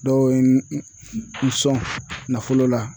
Dɔw ye n sɔn nafolo la